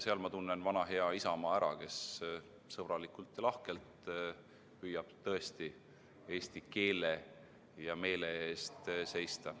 Seal ma tunnen ära vana hea Isamaa, kes sõbralikult ja lahkelt püüab tõesti eesti keele ja meele eest seista.